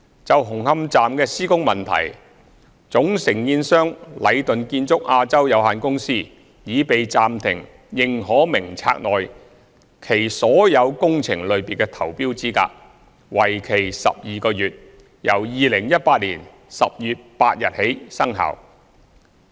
就紅磡站的施工問題，總承建商禮頓建築有限公司已被暫停認可名冊內其註冊所有工程類別的投標資格，為期12個月，由2018年10月8日起生效。